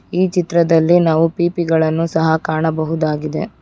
ಈ ಚಿತ್ರದಲ್ಲಿ ನಾವು ಪಿಪಿಗಳನ್ನು ಸಹ ಕಾಣಬಹುದಾಗಿದೆ.